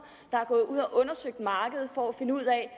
der er gået ud undersøgt markedet for at finde ud af